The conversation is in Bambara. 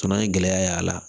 Fana ye gɛlɛya y'a la